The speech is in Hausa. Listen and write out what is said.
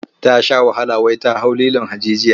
Ta sha wahala wai ta hau lilon hajijiya.